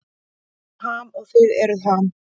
Við erum Ham og þið eruð Ham.